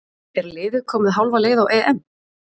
Er liðið komið hálfa leið á EM?